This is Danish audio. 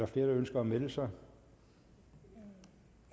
flere der ønsker at melde sig